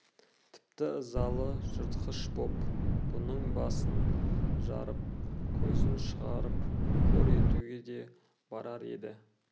тіпті ызалы жыртқыш боп бұның басын жарып көзін шығарып қор етуге де барар еді